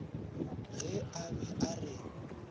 ge a be a re